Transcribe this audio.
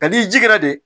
Ka n'i jira de